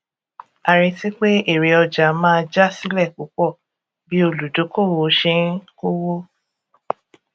a retí pé èrè ọjà máa já sílẹ púpọ bí olùdókóòwò ṣe ń kówó